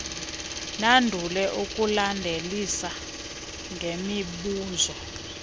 nandule ukulandelisa ngemibuzo